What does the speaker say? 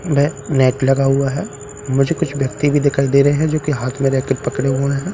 बे net लगा हुआ है मुझे कुछ व्यक्ति भी दिखाई दे रहे है मुझे कुछ व्यक्ति भी दिखाई दे रहे है जो हाथ में रैके पकड़े हुए है म --